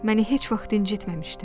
Məni heç vaxt incitməmişdi.